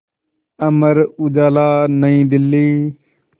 Amar Ujala New Delhi